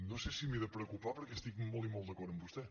no sé si m’he de preocupar perquè estic molt i molt d’acord amb vostè